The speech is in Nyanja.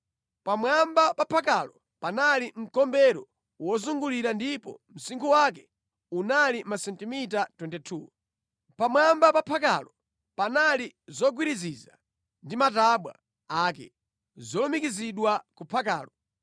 Pamwamba pa phakalo panali mkombero wozungulira ndipo msinkhu wake unali masentimita 22. Pamwamba pa phakalo panali zogwiriziza ndi matabwa ake, zolumikizidwa ku phakalo.